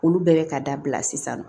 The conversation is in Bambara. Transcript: Olu bɛɛ bɛ ka dabila sisan nɔ